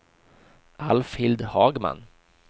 Alfhild Hagman